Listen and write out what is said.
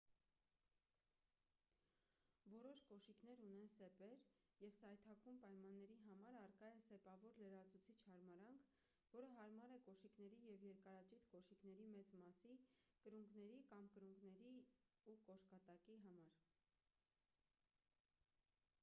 որոշ կոշիկներ ունեն սեպեր և սայթաքուն պայմանների համար առկա է սեպավոր լրացուցիչ հարմարանք որը հարմար է կոշիկների և երկարաճիտ կոշիկների մեծ մասի կրունկների կամ կրունկների ու կոշկատակի համար